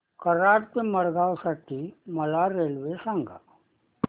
कराड ते मडगाव साठी मला रेल्वे सांगा